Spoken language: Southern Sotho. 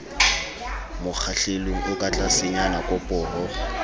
mokgahlelong o ka tlasenyana koporo